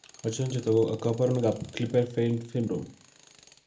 Achon chetogu ak kaborunoik ab Klippel Feil syndrome?